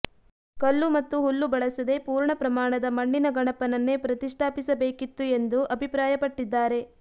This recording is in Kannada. ಕಲ್ಲು ಮತ್ತು ಹುಲ್ಲು ಬಳಸದೇ ಪೂರ್ಣ ಪ್ರಮಾಣದ ಮಣ್ಣಿನ ಗಣಪನನ್ನೇ ಪ್ರತಿಷ್ಠಾಪಿಸಬೇಕಿತ್ತು ಎಂದು ಅಭಿಪ್ರಾಯಪಟ್ಟಿದ್ದಾರೆ